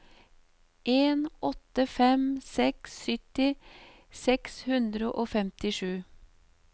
en åtte fem seks sytti seks hundre og femtisju